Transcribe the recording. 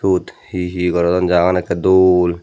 ebot he he gorodon jagagan ekore dol.